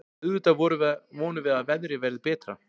Auðvitað vonum við að veðrið verði betra.